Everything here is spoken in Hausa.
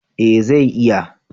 eh zai iya